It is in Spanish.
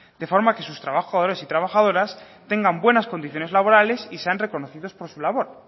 de forma que sus trabajadores y trabajadoras tengan buenas condiciones laborales y sean reconocidos por su labor